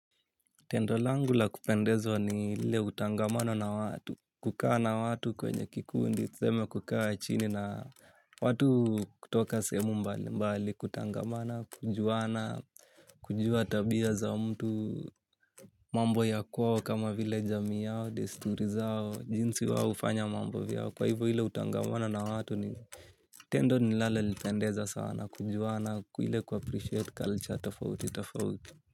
Tendo langu la kupendezwa ni ile utangamano na watu, kukaa na watu kwenye kikundi, tuseme kukaa chini na watu kutoka sehemu mbali mbali, kutangamana, kujuana, kujua tabia za mtu, mambo ya kwao kama vile jami yao, desturi zao, jinsi wao hufanya mambo vyao, kwa hivo ile utangamano na watu ni tendo ninalo lipendeza sana, kujuana, ile kuappreciate culture, tofauti, tofauti.